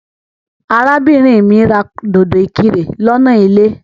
Arábìnrin mí ra dòdò ìkirè lọ́nà ilé.